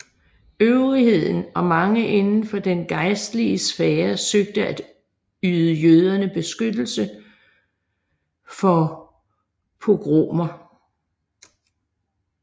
Øvrigheden og mange inden for den gejstlige sfære søgte at yde jøderne beskyttelse for pogromer